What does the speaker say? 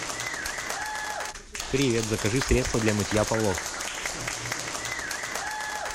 привет закажи средство для мытья полов